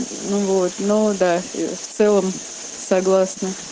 ну вот ну да в целом согласна